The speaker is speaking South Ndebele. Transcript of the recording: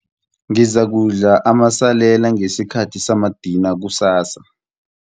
Ngizakudla amasalela ngesikhathi samadina kusasa.